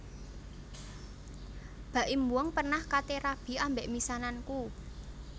Baim Wong pernah kate rabi ambek misananku